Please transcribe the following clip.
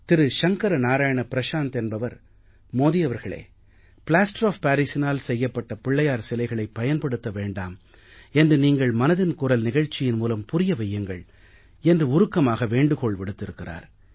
திரு சங்கர நாராயன ப்ரஷாந்த் என்பவர் மோதி அவர்களே plaster of parisஇனால் செய்யப்பட்ட பிள்ளையார் சிலைகளைப் பயன்படுத்த வேண்டாம் என்று நீங்கள் மனதின் குரல் நிகழ்ச்சியின் மூலம் புரிய வையுங்கள் என்று உருக்கமாக வேண்டுகோள் விடுத்திருக்கிறார்